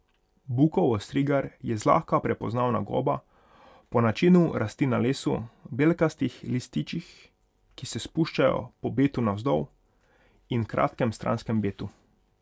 Bukov ostrigar je zlahka prepoznavna goba, po načinu rasti na lesu, belkastih lističih, ki se spuščajo po betu navzdol, in kratkem stranskem betu.